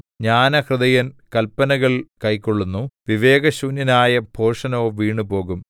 ജ്ഞാനഹൃദയൻ കല്പനകൾ കൈക്കൊള്ളുന്നു വിവേകശൂന്യനായ ഭോഷനോ വീണുപോകും